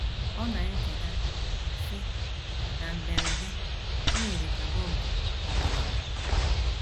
Ọ na - echeta, sị: “ Na mberede, o yiri ka bọmbụ ọ̀ gbawara.